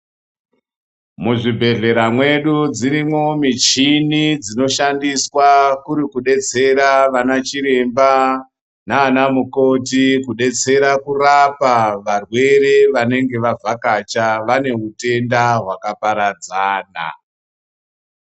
Muzvibhedhlera mwedu dzirimwo michini dzinoshandiswa kuri kudetsera vanachiremba naanamukoti kudetsera kurapa varwere wanenge wavhakacha wane utenda hwakaparadzana.